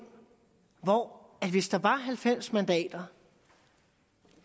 hvor vi hvis der var halvfems mandater